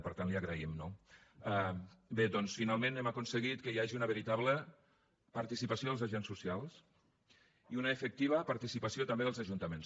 per tant li ho agraïm no bé doncs finalment hem aconseguit que hi hagi una veritable participació dels agents socials i una efectiva participació també dels ajuntaments